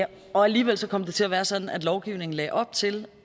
og alligevel kom det til at være sådan at lovgivningen lagde op til